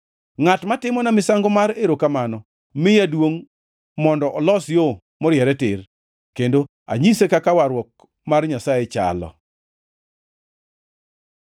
Ngʼat ma timona misango mar erokamano miya duongʼ mondo olos yo moriere tir, kendo anyise kaka warruok mar Nyasaye chalo.”